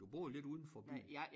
Du bor lidt udenfor byen